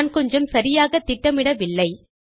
நான் கொஞ்சம் சரியாக திட்டமிடவில்லை